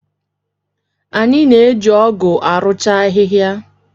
Anyị na-eji ọ́gụ̀ arụcha ahịhịa.